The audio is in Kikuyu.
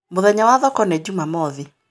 Mũthenya wa thoko nĩ Njumamothi